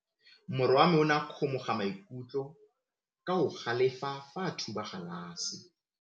Morwa wa me o ne a kgomoga maikutlo ka go galefa fa a thuba galase.